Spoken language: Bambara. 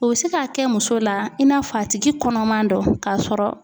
O bi se k'a kɛ muso la i n'a fɔ a tigi kɔnɔma don k'a sɔrɔ.